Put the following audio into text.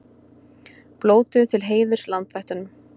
Blótuðu til heiðurs landvættunum